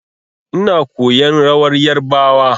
Ina koyan rawar yarbawa.